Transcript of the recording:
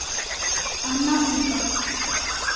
Anna Hulda.